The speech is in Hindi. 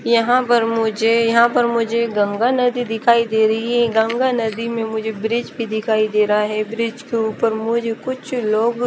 यहां पर मुझे यहां पर मुझे गंगा नदी दिखाई दे रही है गंगा नदी में मुझे ब्रिज भी दिखाई दे रहा है ब्रिज के ऊपर मुझे कुछ लोग--